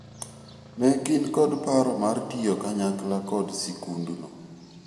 ne gin kod paro mar tiyo kanyakla kod sikund no